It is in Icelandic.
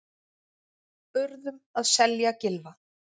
Urðum að selja Gylfa